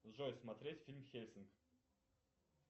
джой смотреть фильм хельсинг